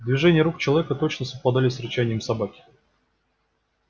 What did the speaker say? движения рук человека точно совпадали с рычанием собаки